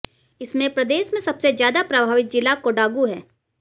इसमें प्रदेश में सबसे ज्यादा प्रभावित जिला कोडागू है